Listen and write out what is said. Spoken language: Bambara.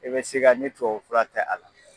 E bɛ siga ni tubabu fura tɛ a la.